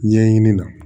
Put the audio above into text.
Ɲɛɲini na